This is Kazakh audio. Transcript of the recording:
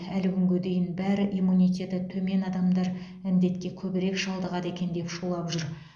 әлі күнге дейін бәрі иммунитеті төмен адамдар індетке көбірек шалдығады екен деп шулап жүр